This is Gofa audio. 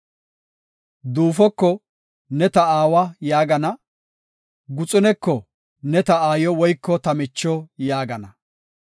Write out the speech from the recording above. Duufoko, ‘Ne ta aawa’ yaagana; guxuneko, ‘Ne ta aayo woyko ta micho’ yaagana.